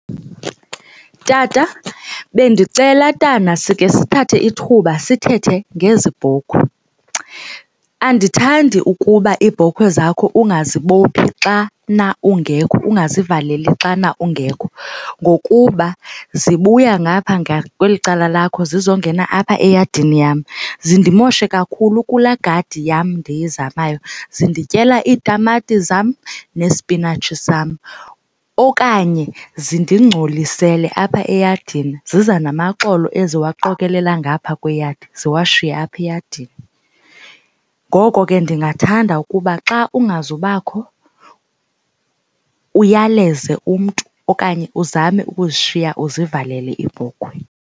Tata, bendicela tana sike sithathe ithuba sithethe ngezi bhokhwe. Andithandi ukuba iibhokhwe zakho ungazibophi xana ungekho ungazivaleli xana ungekho ngokuba zibuya ngaphaa ngakweli cala lakho zizongena apha eyadini yam zindimoshe kakhulu kulaa gadi yam ndizamayo. Zindityela itamati zam nesipinatshi sam kuzo okanye zindingcolisele apha eyadini, ziza namaxolo eziwaqokelela ngapha kweyadi ziwashiye apha eyadini. Ngoko ke ndingathanda ukuba xa ungazubakho uyaleze umntu okanye uzame ukuzishiya uzivalele iibhokhwe.